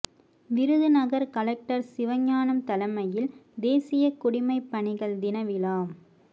Virudhunagar collector Sivagnanam தலைமையில் தேசிய குடிமை பணிகள் தின விழா